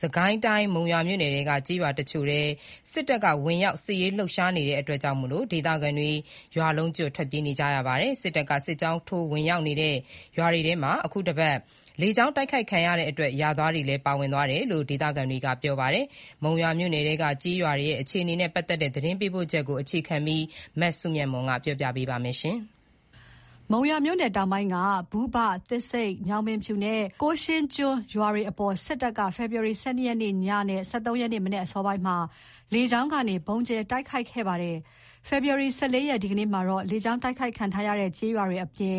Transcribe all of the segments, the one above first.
စစ်ကိုင်းတိုင်း၊ မုံရွာမြို့နယ်ထဲက ကျေးရွာတချို့ထဲ စစ်တပ်ဝင်ရောက် စစ်ရေးလှုပ်ရှားနေတာကြောင့် ဒေသခံတွေ ရွာလုံးကျွတ်ထွက်ပြေးနေကြရပါတယ်။ စစ်တပ်က စစ်ကြောင်းထိုးဝင်ရောက်နေတဲ့ ရွာတွေထဲမှာ အခုတပတ်ထဲ လေကြောင်းတိုက်ခိုက်ခံခဲ့ရတဲ့ ရွာတွေလည်းပါဝင်တယ်လို့ ဒေသခံတွေက ပြောပါတယ်။ မုံရွာမြို့နယ်ထဲက ကျေးရွာတွေရဲ့ အခြေအနေကို သတင်းပေးပို့ချက်ကို အခြေခံပြီး တင်ပြထားပါတယ်။ မုံရွာမြို့နယ်တောင်ပိုင်းက ဘုဘ၊ သစ်ဆိမ့်၊ ညောင်ဖြူပင်နဲ့ ကိုးရှင်းကျွန်းရွာတွေအပေါ် စစ်တပ်က ဖေဖော်ဝါရီ ၁၂ ရက်နေ့ညနဲ့ ၁၃ ရက်နေ့ မနက်အစောပိုင်းမှာ လေကြောင်းကနေ ဗုံးကြဲ တိုက်ခိုက်ခဲ့ ပါတယ်။ ဖေဖော်ဝါရီ ၁၄ ရက်၊ ဒီကနေ့မှာတော့ လေကြောင်းတိုက်ခိုက်ခံထားရတဲ့ ကျေးရွာတွေအပြင်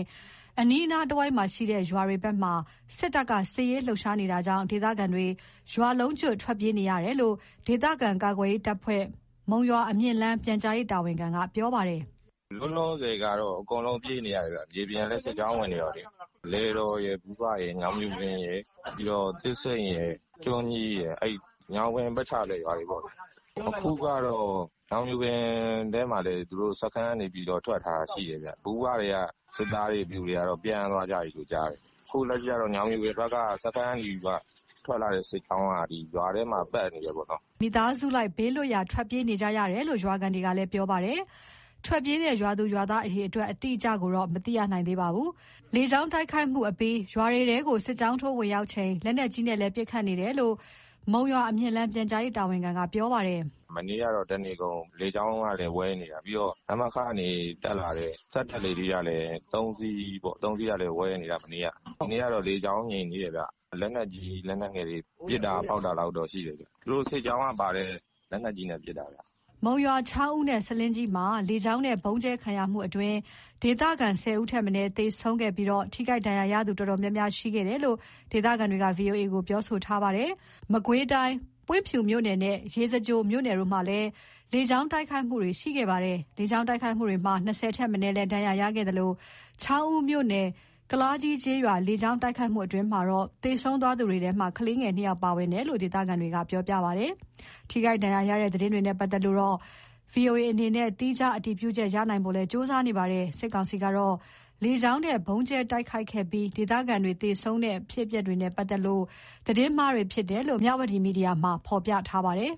အနီးတဝိုက်ရွာတွေဘက်မှာ စစ်တပ်က စစ်ရေးလှုပ်ရှားနေတာကြောင့် ဒေသခံတွေ ရွာလုံးကျွတ် ထွက်ပြေးနေရတယ်လို့ ဒေသခံကာကွယ်ရေးတပ်ဖွဲ့ မုံရွာ-အမြင့်လမ်း ပြန်ကြားရေးတာဝန်ခံက ပြောပါတယ်။ "လောလောဆယ်ကတော့ အကုန်လုံးပြေးနေရတယ်ဗျ။ မြေပြင်ကလည်း စစ်ကြောင်းဝင်နေတော့လေ။ လယ်တော်၊ ဘုဘ၊ ညောင်ဖြူပင်၊ သစ်ဆိမ့်၊ ကျွန်းကြီး။ အဲဒီ ညောင်ပင်ပတ်ချာလည် ရွာတွေပေါ့။ အခုကတော့ ညောင်ဖြူပင်ထဲမှာလည်း သူတို့စခန်းကနေ ထွက်ထားတာရှိတယ်ဗျ။ ဘုဘထဲက စစ်သား တွေ၊ ပျူတွေကတော့ ပြန်သွားကြပြီလို့ ကြားတယ်။ အခုလက်ရှိကတော့ ညောင်ဖြူပင်ဘက်က စခန်းကနေထွက်လာတဲ့ စစ်ကြောင်းက ရွာထဲမှာပတ်နေတယ်ပေါ့။" စစ်သားတွေဝင်လာလို့ မိသားစုလိုက် ဘေးလွတ်ရာ ထွက်ပြေးနေရတယ်လို့ ရွာခံတွေကလည်း ပြောပါတယ်။ ထွက်ပြေးတဲ့ ရွာသူရွာသား အရေအတွက် အတိအကျတော့ မသိရသေးပါဘူး။ လေကြောင်းတိုက်ခိုက်မှုအပြီး ရွာတွေထဲမှာ စစ်ကြောင်းထိုးဝင်ရောက်ချိန် လက်နက်ကြီးနဲ့ ပစ်ခတ် တာတွေလည်း ရှိခဲ့တယ်လို့ မုံရွာ-အမြင့်လမ်း ပြန်ကြားရေးတာဝန်ခံက ပြောပါတယ်။ "မနေ့ကတော့ တနေကုန်လေကြောင်းကနေ ဝဲနေတာ။ ပြီးတော့ နမခကနေ တက်လာတဲ့ စက်တပ် လေထီး ၃ စီးကလည်း မနေ့က ဝဲနေတာ။ ဒီနေ့ကတော့ လေကြောင်းငြိမ်သေးတယ်ဗျ။ လက်နက်ကြီး၊ လက်နက်ငယ်တွေ ပစ်တာဖောက်တာလောက်တော့ ရှိတယ်ဗျ။ သူတို့စစ်ကြောင်းကနေပါတဲ့ လက်နက်ကြီးနဲ့ပစ်တာဗျ။" မုံရွာ၊ ချောင်းဦးနဲ့ ဆားလင်းကြီးမှာ လေကြောင်းနဲ့ ဗုံးကြဲခံရမှုအတွင်း ဒေသခံ ၁၀ ဦးထက်မနည်း သေဆုံးပြီး ထိခိုက်ဒဏ်ရာရသူ တော်တော်များများရှိခဲ့တယ်လို့ ဒေသခံတွေက VOA ကို ပြောထားပါ တယ်။ မကွေးတိုင်း ပွင့်ဖြူမြို့နယ်နဲ့ ရေစကြိုမြို့နယ်တို့မှာလည်း လေကြောင်းတိုက်ခိုက်တာတွေ ရှိခဲ့ပါ တယ်။ လေကြောင်း တိုက်ခိုက်မှုကြောင့် ၂၀ ထက်မနည်းလည်း ဒဏ်ရာရရှိခဲ့သလို ချောင်းဦးမြို့နယ် ကုလားကြီးကျေးရွာလေကြောင်းတိုက်ခိုက်မှုအတွင်း သေဆုံးသူတွေထဲ ကလေးငယ် ၂ ဦး ပါဝင်တယ် လို့လည်း ဒေသခံတွေက ပြောပါတယ်။ ထိခိုက်ဒဏ်ရာရတဲ့ သတင်းတွေနဲ့ ပတ်သက်လို့တော့ ဗွီအိုအေအနေနဲ့ သီးခြားအတည်ပြုချက် ရနိုင်ဖို့ လည်း ကြိုးစားနေပါတယ်။ စစ်ကောင်စီကတော့ လေကြောင်းနဲ့ ဗုံးကြဲတိုက်ခိုက်ပြီး ဒေသခံတွေ သေဆုံးတဲ့ဖြစ်စဉ်တွေဟာ သတင်းအမှားတွေဖြစ်တယ်ဆိုပြီး မြဝတီမီဒီယာမှာ ဖော်ပြထားပါတယ်။